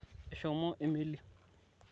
eshomo emeli